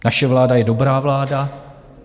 Naše vláda je dobrá vláda.